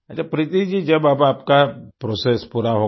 अच्छा प्रीति जी जब अब आपका प्रोसेस पूरा हो गया